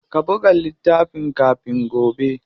Ka buga littafin kafin gobe.